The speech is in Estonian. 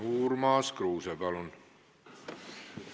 Urmas Kruuse, palun!